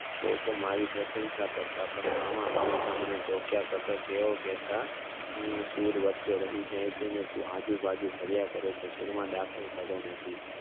લોકો મારી પ્રશંસા કરતાં પણ મામા હંમેશા તોક્યા કરતા તેઓ મને કહેતા હમ સૂર વચે રહી જાય છે ને તું આજુબાજુ ફર્યા કરે છે સૂર માં દાખલ થતો નથી